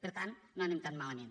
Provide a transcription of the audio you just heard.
per tant no anem tan malament